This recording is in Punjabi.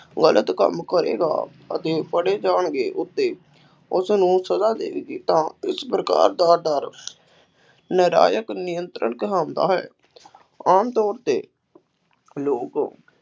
ਗਲਤ ਕੰਮ ਕਰੇਗਾ ਅਤੇ ਫੜੇ ਜਾਣਗੇ ਅਤੇ ਉਸਨੂੰ ਸਜ਼ਾ ਮਿਲੇਗੀ ਤਾਂ ਇਸ ਪ੍ਰਕਾਰ ਦਾ ਡਰ ਨਿਯੰਤਰਣ ਕਹਾਉਂਦਾ ਹੈ, ਆਮ ਤੌਰ 'ਤੇ ਲੋਕ